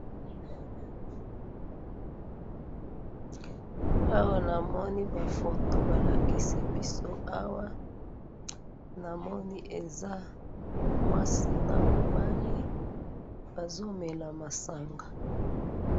awa na moni ba photo ba lakisi biso awa namoni eza mwasi na mobali bazo mela masanga